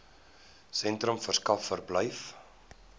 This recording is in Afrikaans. sentrums verskaf verblyf